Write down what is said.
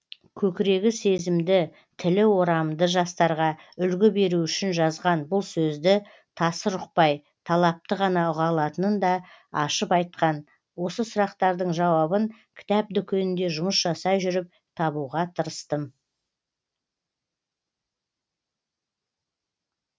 көкірегі сезімді тілі орамды жастарға үлгі беру үшін жазған бұл сөзді тасыр ұқпай талапты ғана ұға алатынын да ашып айтқан осы сұрақтардың жауабын кітап дүкенінде жұмыс жасай жүріп табуға тырыстым